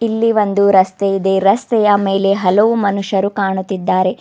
ಇಲ್ಲಿ ಒಂದೂ ರಸ್ತೆ ಇದೆ ರಸ್ತೆಯ ಮೇಲೆ ಹಲವು ಮನುಷ್ಯರು ಕಾಣುತ್ತಿದ್ದಾರೆ.